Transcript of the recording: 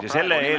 Härra esimees!